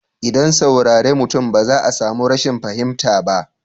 ldan saurare mutum ba za a samu rashin fahimta ba.